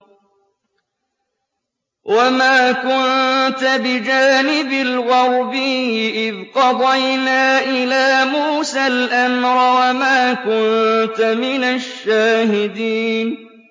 وَمَا كُنتَ بِجَانِبِ الْغَرْبِيِّ إِذْ قَضَيْنَا إِلَىٰ مُوسَى الْأَمْرَ وَمَا كُنتَ مِنَ الشَّاهِدِينَ